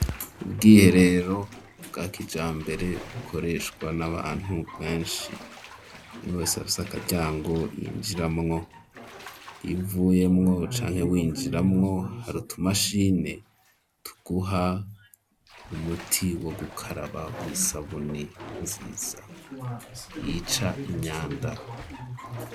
Ubwiherero bwa kijambere, bukoreshwa n'abantu benshi, umwe wese aba afise akaryango yinjiramwo, iyo uvuyemwo canke winjiramwo, hari utumashini tuguha umuti wo gukaraba w'isabuni nziza, yica imyanda.